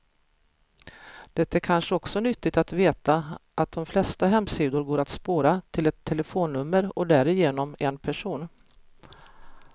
Det är kanske också nyttigt att veta att de flesta hemsidor går att spåra, till ett telefonnummer och därigenom en person.